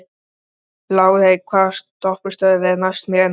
Lárey, hvaða stoppistöð er næst mér?